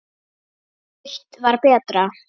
Breitt var betra.